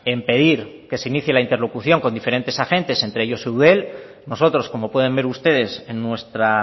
en pedir que se inicie la interlocución con diferentes agentes entre ellos eudel nosotros como pueden ver ustedes en nuestra